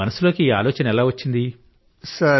మీ మనసులోకి ఈ ఆలోచన ఎలా వచ్చింది